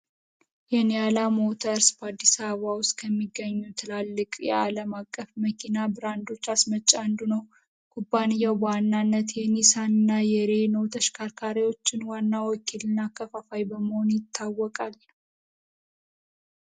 የኔ አላሙተርስ በአዲስ አበባ ውስጥ ከሚገኙ ትላልቅ የአለማቀፍ መኪና ብራንዶች አስመጪ አንዱ ነው ቴኒሳና የሬው ተሽከርካሪዎችን ዋናው ልናከፋፋይ በመሆኑ ይታወቃል።